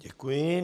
Děkuji.